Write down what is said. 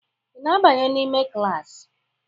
Ị na-abanye n'ime klaasị?